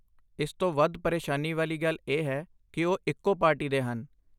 ਇਸ ਤੋਂ ਵੱਧ ਪਰੇਸ਼ਾਨੀ ਵਾਲੀ ਗੱਲ ਇਹ ਹੈ ਕਿ ਉਹ ਇੱਕੋ ਪਾਰਟੀ ਦੇ ਹਨ।